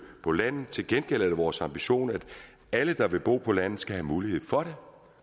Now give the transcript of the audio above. på landet til gengæld er det vores ambition at alle der vil bo på landet skal have mulighed for